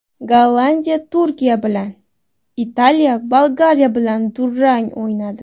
Gollandiya Turkiya bilan, Italiya Bolgariya bilan durang o‘ynadi.